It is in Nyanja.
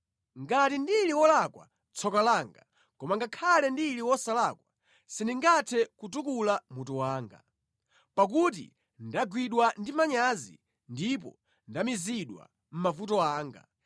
Ngati ndili wolakwa, tsoka langa! Koma ngakhale ndili wosalakwa sindingathe kutukula mutu wanga, pakuti ndagwidwa ndi manyazi ndipo ndamizidwa mʼmavuto anga.